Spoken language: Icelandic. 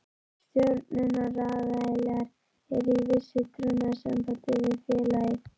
Stjórnunaraðilar eru í vissu trúnaðarsambandi við félagið.